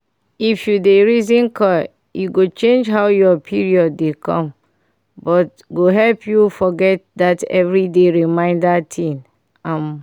if u dey reason coil e go change how ur period dey come but go help u forget that every day reminder thing um